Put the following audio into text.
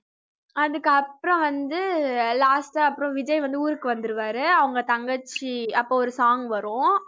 அதுக்கப்புறம் வந்து last ஆ அப்புறம் விஜய் வந்து ஊரூக்கு வந்துருவாரு அவங்க தங்கச்சி அப்ப ஒரு song வரும்